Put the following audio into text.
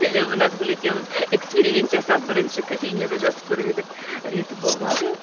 себебі назгүл екеуміз эксперимент жасап бірінші кофейняда жазып көріп едік і реті болмады